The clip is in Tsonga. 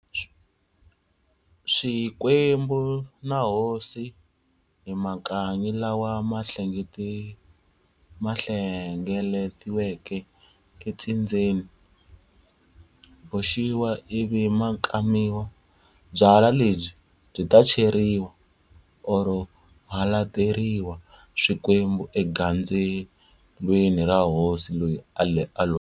Swikwembu na hosi hi Makanyi lawa mahlengeletiweke e ntsindzeni, boxiwa ivi makamiwa. Byala lebyi byi ta cheriwa or halateriwa swikwembu egandzelweni ra hosi leyi a loveke.